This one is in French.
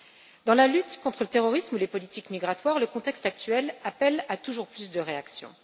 Qu'il s'agisse de la lutte contre le terrorisme ou des politiques migratoires, le contexte actuel appelle à toujours plus de réactions.